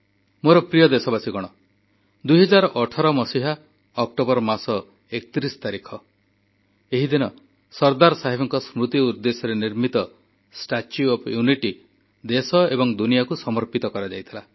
ମୋର ପ୍ରିୟ ଦେଶବାସୀ 2018 ମସିହା ଅକ୍ଟୋବର ମାସ 31 ତାରିଖ ଏହିଦିନ ସର୍ଦ୍ଦାର ସାହେବଙ୍କ ସ୍ମୃତି ଉଦ୍ଦେଶ୍ୟରେ ନିର୍ମିତ ଷ୍ଟାଚ୍ୟୁ ଅଫ ୟୁନିଟି ଦେଶ ଏବଂ ଦୁନିଆକୁ ସମର୍ପିତ କରାଯାଇଥିଲା